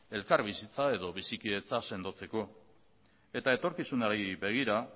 elkar bizitza edo bizikidetza sendotzeko eta etorkizunari begira